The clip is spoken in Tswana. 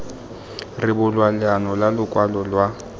rebolwa leano la lokwalo lwa